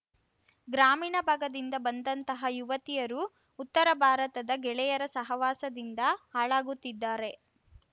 ಗ್ರಾಮೀಣ ಭಾಗದಿಂದ ಬಂದಂತಹ ಯುವತಿಯರು ಉತ್ತರ ಭಾರತದ ಗೆಳೆಯರ ಸಹವಾಸದಿಂದ ಹಾಳಾಗುತ್ತಿದ್ದಾರೆ